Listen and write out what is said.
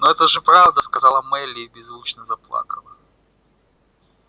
но это же правда сказала мелли и беззвучно заплакала